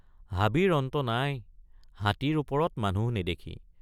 হাবিৰ অন্ত নাই হাতীৰ ওপৰত মানুহ নেদেখি।